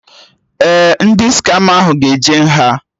Ndị skama ahụ ga-eje nha